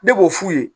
Ne b'o f'u ye